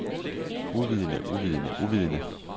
uvidende uvidende uvidende